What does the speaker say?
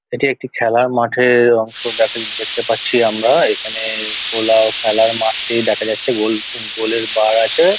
এটি একটি খেলার মাঠের অংশ দেখা দেখতে পাচ্ছি আমরা | এখানে পোলাও খেলার মাঠটি দেখা যাচ্ছে গোল গোলের বার আছে।